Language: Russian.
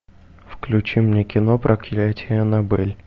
включи мне кино проклятие аннабель